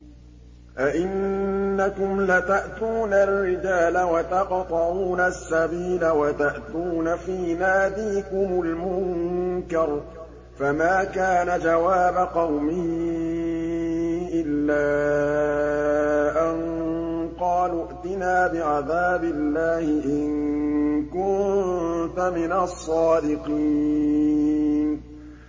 أَئِنَّكُمْ لَتَأْتُونَ الرِّجَالَ وَتَقْطَعُونَ السَّبِيلَ وَتَأْتُونَ فِي نَادِيكُمُ الْمُنكَرَ ۖ فَمَا كَانَ جَوَابَ قَوْمِهِ إِلَّا أَن قَالُوا ائْتِنَا بِعَذَابِ اللَّهِ إِن كُنتَ مِنَ الصَّادِقِينَ